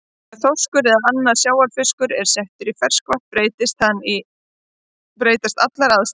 Ef þorskur eða annar sjávarfiskur er settur í ferskvatn breytast allar aðstæður.